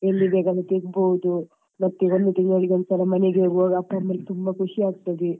ಎಲ್ಲಿ ಬೇಕಾದ್ರೆ ಅಲ್ಲಿ ತಿರ್ಗಬಹುದು, ಮತ್ತೆ ಒಂದು ತಿಂಗಳಿಗೊಂದ್ ಸಲ ಮನೆಗೆ ಹೋಗುವಾಗ ಅಪ್ಪ ಅಮ್ಮನಿಗೆ ತುಂಬಾ ಖುಷಿ ಆಗ್ತದೆ.